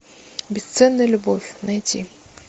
бесценная любовь найти